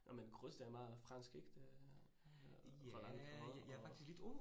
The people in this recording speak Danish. Nåh men grus det er meget fransk ik? Det øh Roland Garros og